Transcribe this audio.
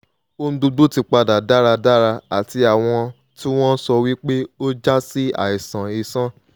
ohun gbogbo ti padà dáradára ati awọn ti won sọ wí pé ó jasi aiṣan iṣan